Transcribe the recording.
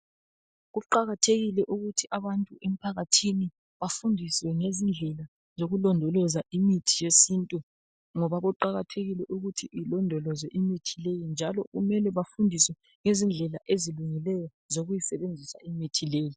Kuqakathekile ukuthi abantu emphakathini bafundiswe ngezindlela zokulondoloza imithi yesintu ngoba kuqakathekile ukuthi ilondolozwe imithi leyi njalo kumele bafundiswe ngezindlela ezilungileyo zokuyisebenzisa imithi leyi.